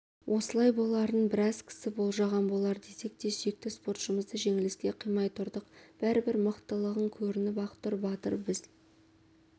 осылай боларын біраз кісі болжаған болар десек те сүйікті спортшымызды жеңіліске қимай тұрдық бәрі бір мықтылығың көрініп ақ тұр батыр біз